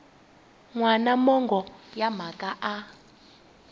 wana mongo wa mhaka a